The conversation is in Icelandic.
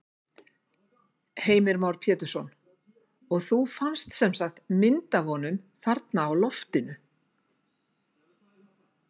Heimir Már Pétursson: Og þú fannst semsagt mynd af honum þarna á loftinu?